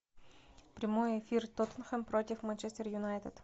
прямой эфир тоттенхэм против манчестер юнайтед